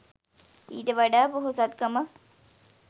ඊට වඩා පොහොසත්කමක්